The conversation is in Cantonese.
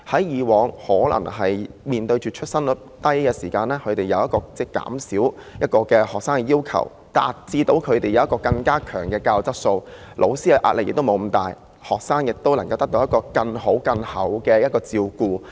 以往面對出生率低的時候，學校要求減少學生，以達致更高的教育質素，老師既不會壓力這麼大，學生亦能得到更好的照顧。